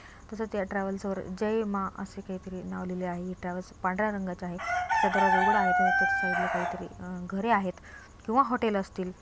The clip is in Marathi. तसेच या ट्रॅव्हल्स वर जय मा असे काहीतरी नाव लिहलेले आहे हे ट्रॅव्हल्स पांढर्‍या रंगाचा आहे त्याचा दरवाजा उघडा आहे त्याच्या एक साइडला काहीतरी अ घरे आहेत किंवा हॉटेल असतील.